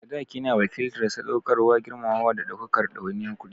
Sadaki yana wakiltar sadaukarwa, girmamawa, da ɗaukar ɗawainiyar kuɗi.